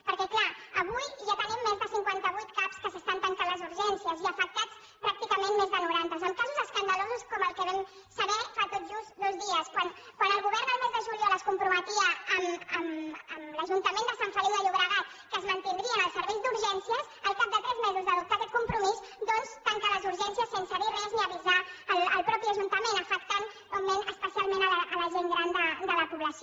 perquè clar avui ja tenim més de cinquanta vuit cap en què s’estan tancant les urgències i afectats pràcticament més de noranta amb casos escandalosos com el que vam saber fa tot just dos dies quan el govern el mes de juliol es comprometia amb l’ajuntament de sant feliu de llobregat que es mantindrien els serveis d’urgències al cap de tres mesos d’adoptar aquest compromís doncs tanca les urgències sense dir res ni avisar el mateix ajuntament afectant especialment la gent gran de la població